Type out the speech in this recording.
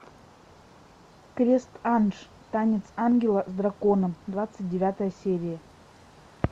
крест анж танец ангела с драконом двадцать девятая серия